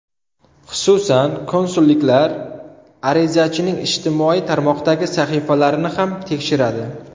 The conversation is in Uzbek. Xususan, konsulliklar arizachining ijtimoiy tarmoqdagi sahifalarini ham tekshiradi.